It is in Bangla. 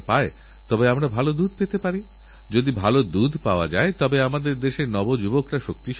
যখনই এই পৃথিবীতে অহিংসা প্রেম ক্ষমা ইত্যাদি শব্দগুলি কানে আসেতখনই তাঁদের চেহারা আমাদের চোখের সামনে ফুটে ওঠে